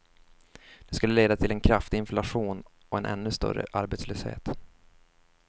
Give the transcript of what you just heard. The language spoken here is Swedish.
Det skulle leda till en kraftig inflation och en ännu större arbetslöshet.